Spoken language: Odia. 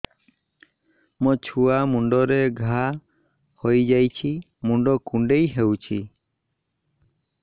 ମୋ ଛୁଆ ମୁଣ୍ଡରେ ଘାଆ ହୋଇଯାଇଛି ମୁଣ୍ଡ କୁଣ୍ଡେଇ ହେଉଛି